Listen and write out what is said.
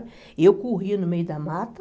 E eu corria no meio da mata.